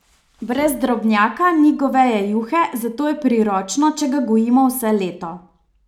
Brez drobnjaka ni goveje juhe, zato je priročno, če ga gojimo vse leto.